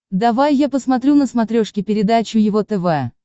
давай я посмотрю на смотрешке передачу его тв